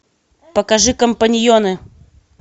покажи компаньоны